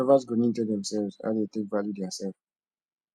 lovers go need to tell themselves how dem take value theirself